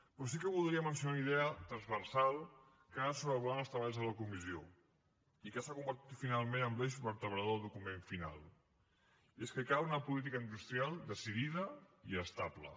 però sí que voldria mencionar una idea transversal que ha anat sobrevolant els treballs de la comissió i que s’ha convertit finalment en l’eix vertebrador del document final i és que cal una política industrial decidida i estable